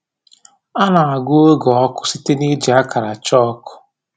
A na-agụ oge ọkụ site n’iji akara chalk.